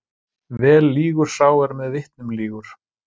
Vel lýgur sá er með vitnum lýgur.